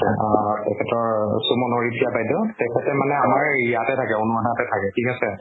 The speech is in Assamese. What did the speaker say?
অ অ অ অ তেখেতৰ চুমন হৰিপ্ৰিয়া বাইদেউ, তেখেত মানে আমাৰ ইয়াতে থাকে থাকে ঠিক আছে।